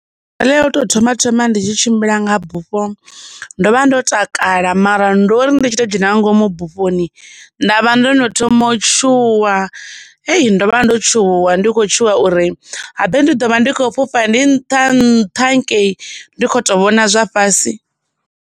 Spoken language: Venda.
Ya u tou thoma thoma ndi tshi tshimbila nga bufho ndo vha ndo takala mara ndo ri ndi tshi to dzhena nga ngomu bufhoni, ndavha ndo no thoma u tshuwa, ei, ndo vha ndo tshuwa ndi khou tshuwa uri, habe ndi ḓo vha ndi khou fhufha ndi nṱha nṱha hangei ndi khou tou vhona zwa fhasi.